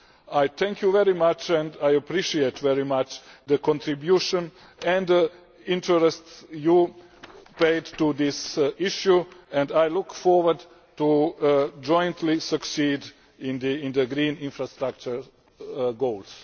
I thank you very much and I appreciate very much the contribution and interest you have paid to this issue and I look forward to jointly succeeding in the green infrastructure goals.